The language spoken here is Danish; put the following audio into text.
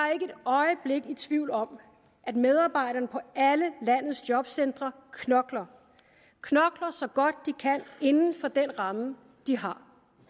jeg i tvivl om at medarbejderne på alle landets jobcentre knokler så godt de kan inden for den ramme de har